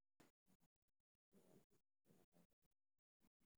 Waa maxay astamaha iyo calaamadaha duumada?